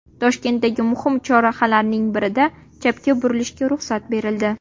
Toshkentdagi muhim chorrahalarning birida chapga burilishga ruxsat berildi.